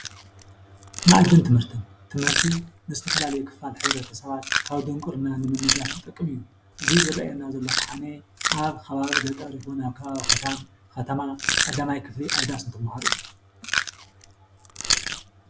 መኣዲን ትምህርቲን-ትምህርቲ ንዝተፈላለዩ ክፋል ሕብረተሰባት ካብ ድንቊርና ንምንጋፍ ዝጠቅም እዩ፡፡ እዚ ዝርአየና ዘሎ ኸዓኒ ኣብ ከባቢ ገጠር ይኹን ኣብ ከባቢ ከተማ ቀዳማይ ክፍሊ ኣብ ዳስ እንትመሃሩ እዩ፡፡